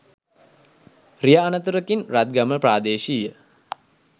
රිය අනතුරකින් රත්ගම ප්‍රාදේශීය